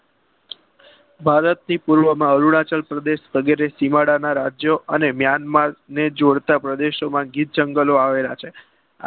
ભારત થી પૂર્વ માં અરુણાચલ પ્રદેશ વગેરે સીમાડાના રાજ્યો અને મ્યાનમાર ને જોડતા પ્રદેશોમાં ગિરજગલો આવેલા છે